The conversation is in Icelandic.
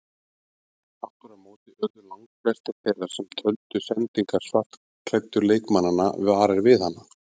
Aftur á móti urðu langflestir þeirra sem töldu sendingar svartklæddu leikmannanna varir við hana.